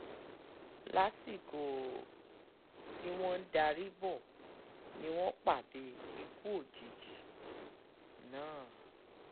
lásìkò um tí wọ́n ń darí bọ́ ni wọ́n pàdé ikú òjijì um náà